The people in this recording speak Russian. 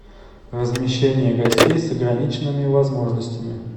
размещение гостей с ограниченными возможностями